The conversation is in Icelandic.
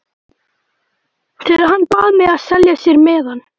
Þegar hann bað mig að selja sér miðann.